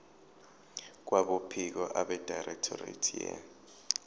kwabophiko abedirectorate ye